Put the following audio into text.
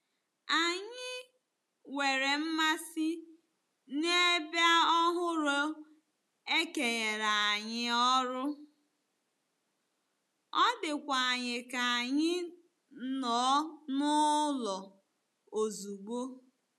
Anyị nwere mmasị n'ebe ọhụrụ e kenyere anyị ọrụ, ọ dịkwa anyị ka anyị nọ n'ụlọ ozugbo.